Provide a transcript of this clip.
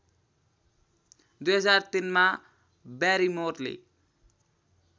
२००३ मा ब्यारिमोरले